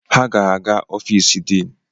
Ha ga-aga ofisi dini